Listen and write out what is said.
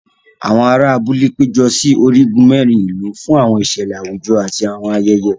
Àwọn àrà abúlé pejọ sí onigun mẹrin ìlú fún àwọn ìṣẹlẹ àwùjọ àti àwọn ayẹyẹ.